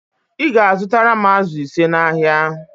Ị ga-azụtara m ázụ̀ ise n'ahịa